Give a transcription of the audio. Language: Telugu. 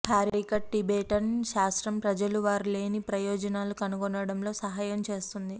హ్యారీకట్ టిబెటన్ శాస్త్రం ప్రజలు వారు లేని ప్రయోజనాలు కనుగొనడంలో సహాయం చేస్తుంది